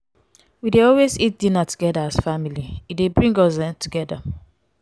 we dey always eat dinner togeda as family e dey bring us um closer